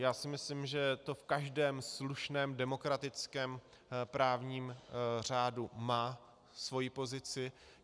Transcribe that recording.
Já si myslím, že to v každém slušném demokratickém právním řádu má svoji pozici.